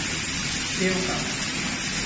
Pevka.